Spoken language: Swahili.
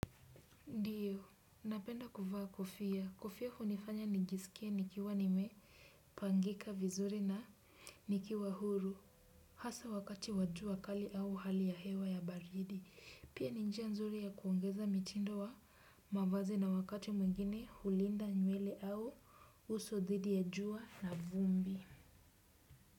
Iyo, napenda kufa kofia, kofia hunifanya nijisikie nikiwa nimepangika vizuri na nikiwa huru, hasa wakati wajua kali au hali ya hewa ya baridi, pia ni njia nzuri ya kuongeza mitindo wa mavazi na wakati mwengine hulinda nywele au uso dhidi ya jua na vumbi.